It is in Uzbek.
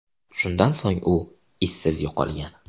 Shundan so‘ng u izsiz yo‘qolgan.